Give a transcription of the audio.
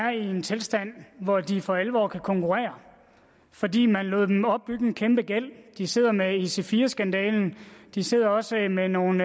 er i en tilstand hvor de for alvor kan konkurrere fordi man lod dem opbygge en kæmpegæld de sidder med ic4 skandalen de sidder også med nogle